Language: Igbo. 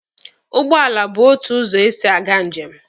Ụgbọala bụ otu ụzọ esi aga njem.